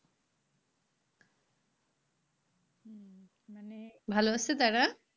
ভালো আছে তারা?